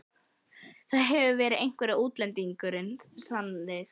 Það hefur verið einhver útlendingurinn, sannið þið til.